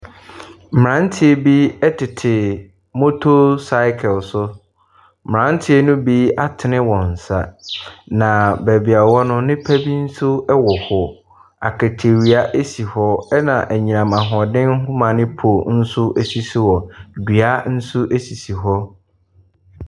Mmranteɛ bi ɛtete motor cycle so. Mmranteɛ no bi atene wɔn nsa. Na baabi wɔwɔ no nnipa bi nso wɔ hɔ. Akatawia esi hɔ. Ɛna anyinam ahoɔɔden nhoma ne pole nso esisi hɔ. Dua nso sisi hɔ.